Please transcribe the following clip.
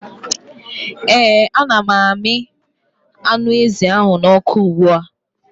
ee ana m na-amị anụ ezi n'ọkụ ugbua